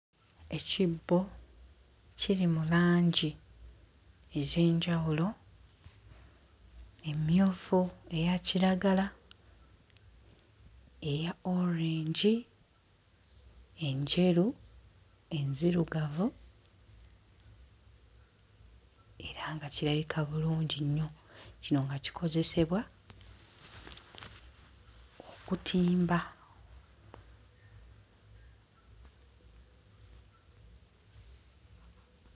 Ekibbo kiri mu langi ez'enjawulo emmyufu, eya kiragala, eya orange, enjeru, enzirugavu era nga kirabika bulungi nnyo kino nga kikozesebwa okutimba.